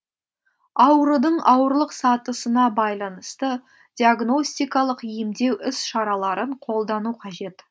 аурудың ауырлық сатысына байланысты диагностикалық емдеу іс шараларын қолдану қажет